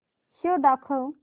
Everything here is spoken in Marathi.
शो दाखव